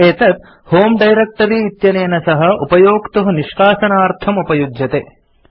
एतत् होमे डायरेक्ट्री इत्यनेन सह उपयोक्तुः निष्कासनार्थम् उपयुज्यते